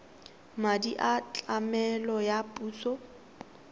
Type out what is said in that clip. madi a tlamelo a puso